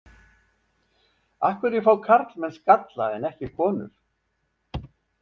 Af hverju fá karlmenn skalla en ekki konur?